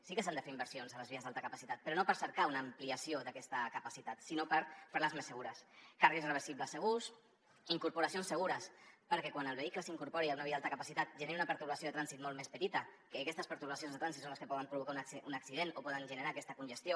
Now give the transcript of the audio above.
sí que s’han de fer inversions a les vies d’alta capacitat però no per cercar una ampliació d’aquesta capacitat sinó per fer les més segures carrils reversibles segurs incorporacions segures perquè quan el vehicle s’incorpori a una via d’alta capacitat generi una pertorbació de trànsit molt més petita ja que aquestes pertorbacions de trànsit són les que poden provocar un accident o poden generar aquesta congestió